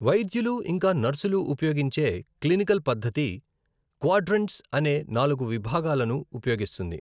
వైద్యులు ఇంకా నర్సులు ఉపయోగించే క్లినికల్ పద్ధతి, క్వాడ్రంట్స్ అనే నాలుగు విభాగాలను ఉపయోగిస్తుంది.